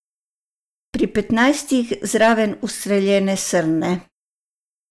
Pri petnajstih zraven ustreljene srne.